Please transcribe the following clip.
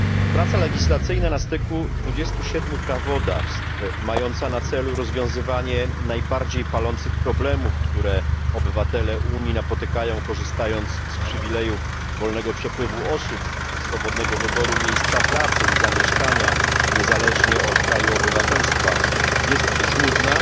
Praca legislacyjna na styku 27 prawodawstw, mająca na celu rozwiązywanie najbardziej palących problemów, które napotykają obywatele Unii, korzystając z przywilejów wolnego przepływu osób, swobodnego wyboru miejsca pracy i zamieszkania niezależnie od kraju obywatelstwa, jest żmudna